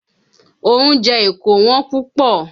Oúnjẹ Èkó Wọ́n púpọ̀.